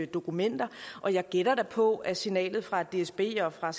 dokumenter og jeg gætter da på at signalet fra dsb og fra